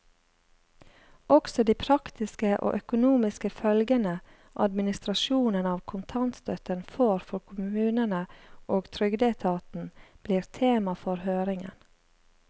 Også de praktiske og økonomiske følgene administrasjonen av kontantstøtten får for kommunene og trygdeetaten, blir tema for høringen.